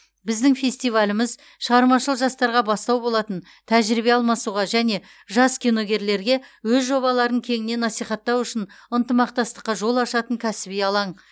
біздің фестиваліміз шығармашыл жастарға бастау болатын тәжірибе алмасуға және жас киногерлерге өз жобаларын кеңінен насихаттау үшін ынтымақстастыққа жол ашатын кәсіби алаң